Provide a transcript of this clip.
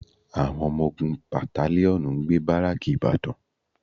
Àwọn ọmọ ogun batalíọ̀nù ń gbé bárékè ìbàdàn